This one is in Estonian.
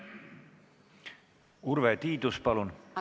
Urve Tiidus, palun!